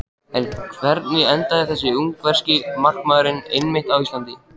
En hvernig endaði þessi ungverski markmaður einmitt á Íslandi?